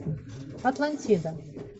атлантида